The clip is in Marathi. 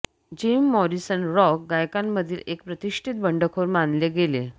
जिम मॉरिसन रॉक गायकांमधील एक प्रतिष्ठित बंडखोर मानले गेले